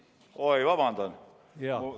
Oi, vabandust!